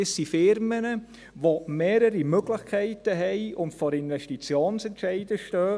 Es handelt sich um Unternehmen, die mehrere Möglichkeiten haben und vor Investitionsentscheiden stehen.